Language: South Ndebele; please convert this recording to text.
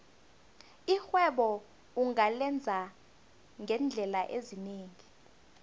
irhwebo ungalenza ngeendlela ezinengi